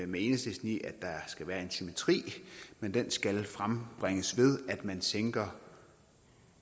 med enhedslisten i at der skal være en symmetri men den skal frembringes ved at man sænker